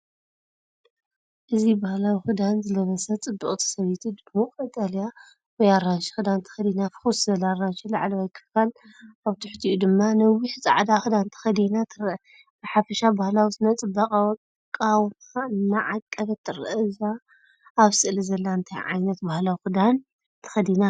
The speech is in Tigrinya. እዚ ባህላዊ ክዳን ዝለበሰት ጽብቕቲ ሰበይቲ፡ድሙቕ ቀጠልያ ወይ ኣራንሺ ክዳን ተኸዲና፡ፍኹስ ዝበለ ኣራንሺ ላዕለዋይ ክፋል፡ኣብ ትሕቲኡ ድማ ነዊሕ ጻዕዳ ክዳንተኸዲና ትርአ። ብሓፈሻ ባህላዊ ስነ-ጽባቐኣዊ ኣቃውማ እናዓቀበት ትረአ። እዛ ኣብ ስእሊ ዘላ እንታይ ዓይነት ባህላዊ ክዳን ተኸዲና ኣላ?